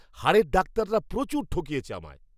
হাড়ের ডাক্তাররা প্রচুর ঠকিয়েছে আমায়!